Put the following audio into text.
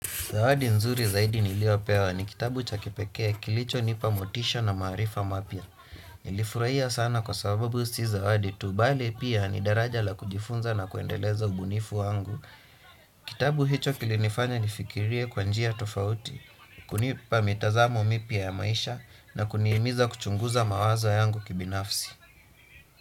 Zawadi nzuri zaidi niliopewa ni kitabu cha kipekee kilicho nipa motisha na maarifa mapya. Nilifurahia sana kwa sababu si zawadi tu bali pia ni daraja la kujifunza na kuendeleza ubunifu wangu. Kitabu hicho kilinifanya nifikirie kwa njia tofauti, kunipa mitazamo mipya ya maisha na kunihimiza kuchunguza mawazo yangu kibinafsi.